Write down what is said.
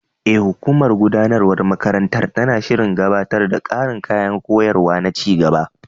E, hukumar gudanarwar makarantar tana shirin gabatar da ƙarin kayan koyarwa na ci gaba.